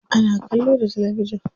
Ana kallo da talabijin.